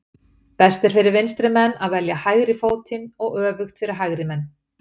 Best er fyrir vinstri menn að velja hægri fótinn og öfugt fyrir hægri menn.